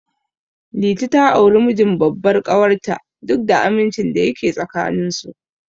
Liti ta auri mijin babbar ƙawar ta, duk da amincin da yake tsakanin su.